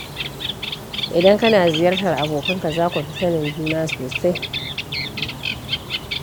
Idan kana ziyartar abokanka, za ku fi sanin juna sosai.